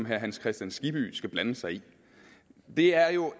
herre hans kristian skibby skal blande sig i det er jo